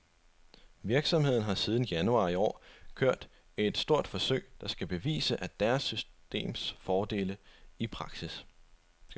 Virksomheden har siden januar i år kørt et stort forsøg, der skal bevise deres systems fordele i praksis.